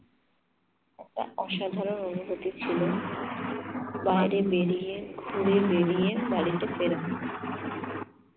একটা অসাধারন অনুভুতি ছিল বাইরে বেরিয়ে, ঘুরে বেরিয়ে বাড়িতে ফেরা।